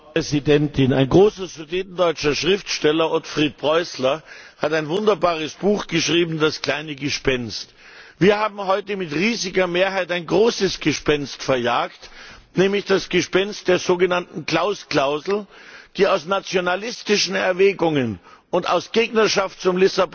Frau Präsidentin! Ein großer sudetendeutscher Schriftsteller, Otfried Preußler, hat ein wunderbares Buch geschrieben Das kleine Gespenst. Wir haben heute mit riesiger Mehrheit ein großes Gespenst verjagt, nämlich das Gespenst der sogenannten Klaus Klausel, die aus nationalistischen Erwägungen und aus Gegnerschaft zum